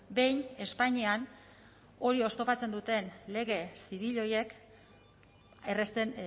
behin espainian hori oztopatzen duten lege zibil horiek errazten